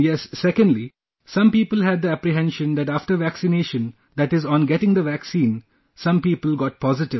And yes , secondly, some people had the apprehension that after vaccination, that is on getting the vaccine, some people got positive